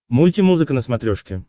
мультимузыка на смотрешке